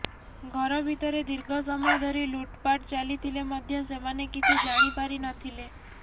ଘର ଭିତରେ ଦୀର୍ଘ ସମୟ ଧରି ଲୁଟପାଟ୍ ଚାଲିଥିଲେ ମଧ୍ୟ ସେମାନେ କିଛି ଜାଣି ପାରି ନଥିଲେ